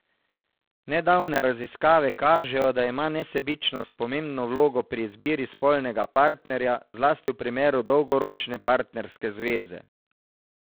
Nedavne raziskave kažejo, da ima nesebičnost pomembno vlogo pri izbiri spolnega partnerja, zlasti v primeru dolgoročne partnerske zveze.